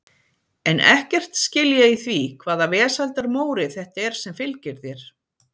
En ekkert skil ég í því hvaða vesældar Móri þetta er sem fylgir þér.